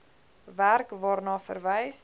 werk waarna verwys